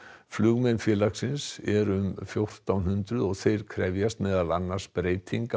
flugmenn félagsins eru um fjórtán hundruð og þeir krefjast meðal annars breytinga